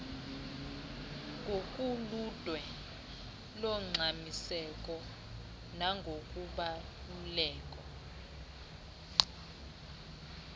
ngokoludwe longxamiseko nangokubaluleka